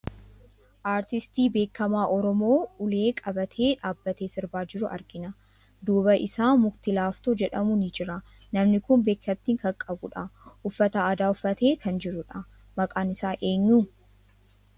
Artistii beekamaa Oromoo ulee qabatee dhaabbatee sirbaa jiru argina. Duuba isaa mukti laaftoo jedhamu ni jira. Namni kun beekamtii kan qabudha. Uffata aadaa uffatee kan jiru dha. Maqaan isaa eenyu?